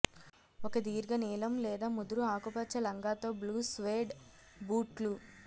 ఒక దీర్ఘ నీలం లేదా ముదురు ఆకుపచ్చ లంగా తో బ్లూ స్వెడ్ బూట్లు